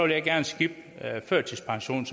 jeg gerne skippe førtidspensionen